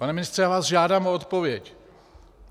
Pane ministře, já vás žádám o odpověď!